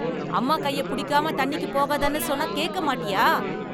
அம்மா கைய புடிக்காம தண்ணிக்கு போகாதன்னு சொன்னா கேக்க மாட்டியா